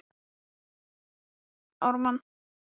Það er að verða alveg óþolandi sambandsleysi hérna á heimilinu!